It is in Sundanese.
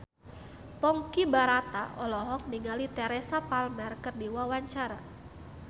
Ponky Brata olohok ningali Teresa Palmer keur diwawancara